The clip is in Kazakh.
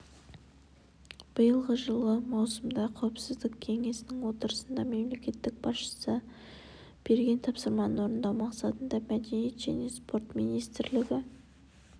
биылғы жылы маусымда қауіпсіздік кеңесінің отырысында мемлекет басшысы берген тапсырманы орындау мақсатында мәдениет және спорт министрлігі